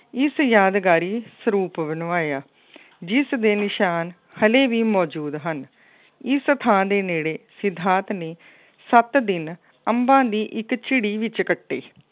ਇਸ ਯਾਦਗਾਰੀ ਸਰੂਪ ਬਣਵਾਇਆ। ਜਿਸ ਦੇ ਨਿਸ਼ਾਨ ਹਲੇ ਵੀ ਮੌਜੂਦ ਹਨ। ਇਸ ਥਾਂ ਦੇ ਨੇੜੇ ਸਿਧਾਰਥ ਨੇ ਸੱਤ ਦਿਨ ਅੰਬਾਂ ਦੀ ਇੱਕ ਝਿੜੀ ਜਿਹੀ ਚੱਕਤੀ।